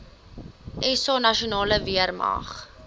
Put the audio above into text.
sa nasionale weermag